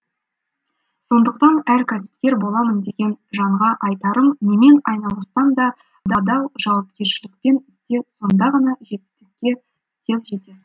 сондықтан әр кәсіпкер боламын деген жанға айтарым немен айналыссаң да адал жауапкершілікпен істе сонда ғана жетістікке тез жетесің